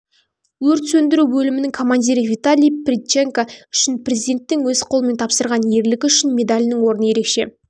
өрт сөндіру бөлімінің командирі виталий прядченко үшін президенттің өз қолымен тапсырған ерлігі үшін медалінің орны ерекше